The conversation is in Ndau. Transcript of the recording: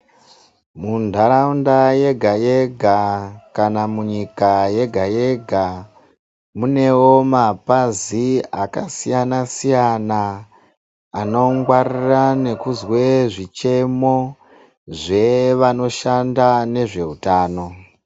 Mundaraunda yega yega kana munyika yega yega munewo mapazi akasiyana siyana anongwarira nekuzwe zvichemo zvevanoshanda nezveutano.